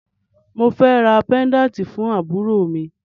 Mo fẹ́ ra pẹ́ńdáǹtì fún àbúrò mi